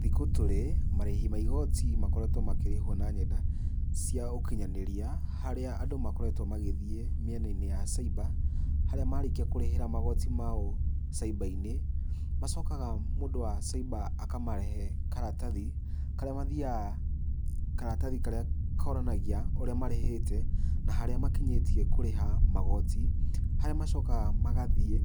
Thikũ tũrĩ, marĩhi ma igoti makoretwo makĩrĩhwo na nenda cia ũkinyanĩria, harĩa andũ makoretwo magĩthiĩ mĩena-inĩ ya cyber harĩa marĩkia kũrĩhĩra magoti mao cyber -inĩ, macokaga mũndũ wa cyber akamahe karatathi karĩa mathiaga, karatathi karĩa konanagia ũrĩa marĩhĩte, na harĩa makinyĩtie kũrĩha magoti, harĩa macokaga magathiĩ